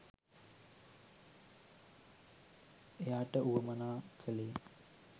එයාට වුවමනා කළේ.